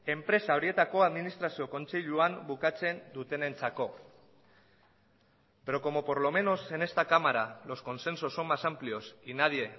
enpresa horietako administrazio kontseiluan bukatzen dutenentzako pero como por lo menos en esta cámara los consensos son más amplios y nadie